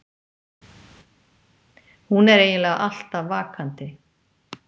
Hún er eiginlega alltaf vakandi.